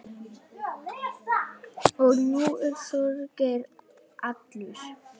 Og nú er Þorgeir allur.